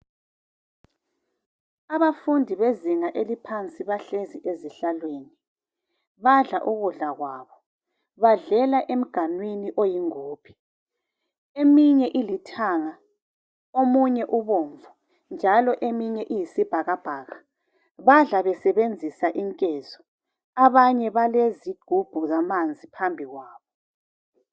Abafundi bezinga eliphansi bahlezi ezihlaweni badla ukudla kwabo. Badlela emganwini eyingubhe eminye ilithanga omunye ubomvu omunye uyisibhakabhaka badla besebenzisa inkezo abanye balezigubhu zamanzi phambi kwabo.